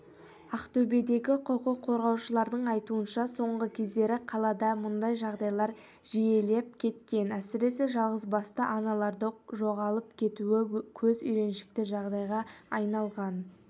ақтөбедегі құқық қорғаушылардың айтуынша соңғы кездері қалада мұндай жағдайлар жиілеп кеткен әсіресе жалғызбасты аналарды жоғалып кетуі көз үйреншікті жағдайға айналған